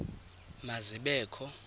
ma zibe kho